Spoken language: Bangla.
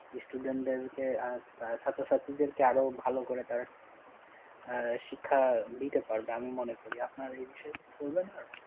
student দেরকে আহ ছাত্রছাত্রীদেরকে আরও ভালো করে তারা আহ শিক্ষা দিতে পারবে, আমি মনে করি আপনারা এই বিষয়ে কি করবেন আর?